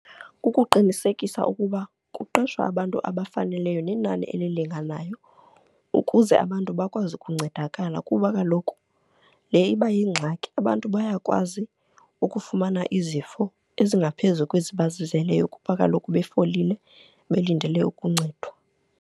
Kukuqinisekisa ukuba kuqeshwa abantu abafaneleyo nenani elilinganayo ukuze abantu bakwazi ukuncedakala kuba kaloku le iba yingxaki. Abantu bayakwazi ukufumana izifo ezingaphezulu kwezi bazizeleyo kuba kaloku befolile, belindele ukuncedwa.